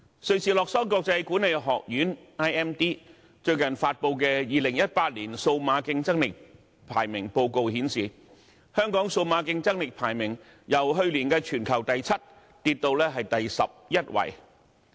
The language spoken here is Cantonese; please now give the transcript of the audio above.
瑞士洛桑國際管理發展學院最近發布的 "2018 年數碼競爭力排名報告"顯示，香港數碼競爭力排名由去年的全球第七位下跌至第十一位。